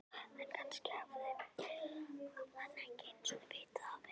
En kannski hafði hann ekki einu sinni vitað af henni.